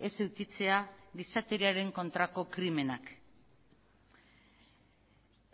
ez edukitzea gizateriaren kontrako krimenak